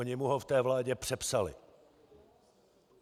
Oni mu ho v té vládě přepsali.